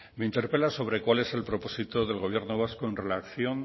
me interpela sobre cuál es el propósito del gobierno vasco en relación